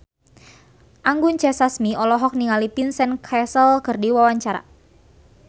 Anggun C. Sasmi olohok ningali Vincent Cassel keur diwawancara